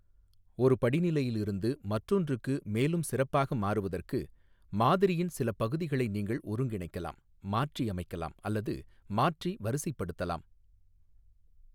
ஒரு படிநிலையில் இருந்து மற்றொன்றுக்கு மேலும் சிறப்பாக மாறுவதற்கு, மாதிரியின் சிலப் பகுதிகளை நீங்கள் ஒருங்கிணைக்கலாம், மாற்றியமைக்கலாம், அல்லது மாற்றி வரிசைப்படுத்தலாம்.